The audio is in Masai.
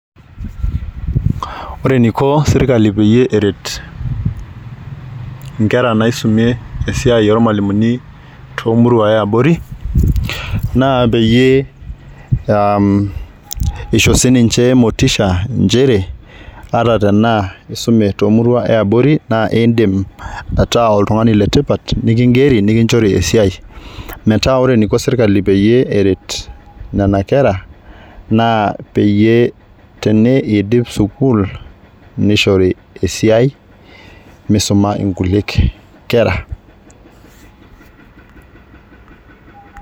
Ore eniko sirkali peyie eret inkera naisumie esiai ormwalimuni tomurua eabori naa peyie aa isho sininche motisha nchere atatenaa isume tomurua eabori naa indim ataa oltungani letipat nikingeri nikinchori esiai. Meetaa ore eniko sirkali peyie eret nena kera naa peyie teneidip sukuul nishori esiai misuma nkuliek kera.